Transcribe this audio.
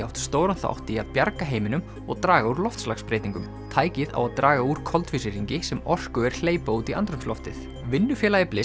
átt stóran þátt í að bjarga heiminum og draga úr loftslagsbreytingum tækið á að draga úr koltvísýringi sem orkuver hleypa út í andrúmsloftið vinnufélagi